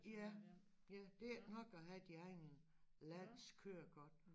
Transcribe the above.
Ja ja det ikke nok at have din egen lands kørekort